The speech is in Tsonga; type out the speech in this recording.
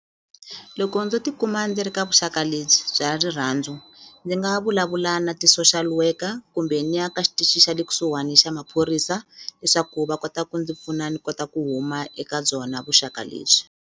Loko ndzo ti kuma ndzi ri ka vuxaka lebyi bya rirhandzu ndzi nga vulavula na ti-social worker kumbe ni ya ka xitichi xa le kusuhani xa maphorisa leswaku va kota ku ndzi pfuna ni kota ku huma eka byona vuxaka lebyi.